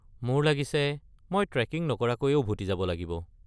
মোৰ লাগিছে মই ট্ৰেকিং নকৰাকৈয়ে উভতি যাব লাগিব।